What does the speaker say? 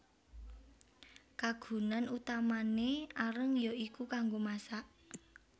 Kagunan utamané areng ya iku kanggo masak